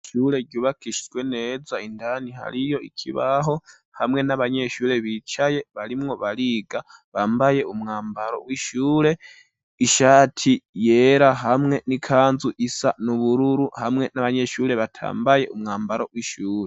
Ishure ryubakishijwe neza indani hariyo ikibaho, hamwe n'abanyeshure bicaye barimwo bariga, bambaye umwambaro w'ishure, ishati yera hamwe n'ikanzu isa n'ubururu, hamwe n'abanyeshure batambaye umwambaro w'ishure.